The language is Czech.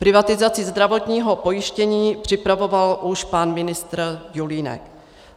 Privatizaci zdravotního pojištění připravoval už pan ministr Julínek.